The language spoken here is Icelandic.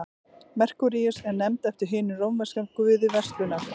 merkúríus er nefnd eftir hinum rómverska guði verslunar